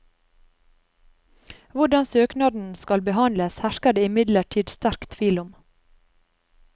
Hvordan søknadene skal behandles, hersker det imidlertid sterk tvil om.